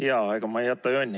Jaa, ega ma ei jäta jonni.